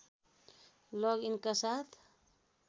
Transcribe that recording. लग इनका साथ